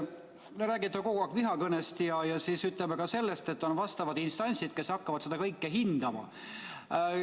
Te räägite kogu aeg vihakõnest ja ka sellest, et on vastavad instantsid, kes hakkavad seda kõike hindama.